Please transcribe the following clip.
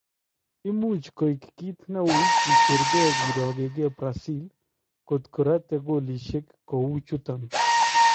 Imuch koek kiit newuuy kicheer kee kirooke Brazil kotkee ratee koolisyeek kou chuton.